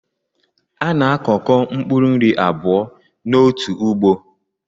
A na-akọko mpkuru nri abụọ n’otu ugbo